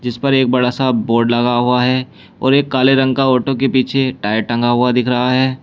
इस पर एक बड़ा सा बोर्ड लगा हुआ है और एक काले रंग का ऑटो के पीछे टायर टंगा हुआ दिख रहा है।